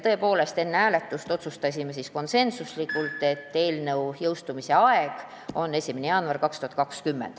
Tõepoolest, otsustasime konsensuslikult, et eelnõu jõustumise aeg on 1. jaanuar 2020.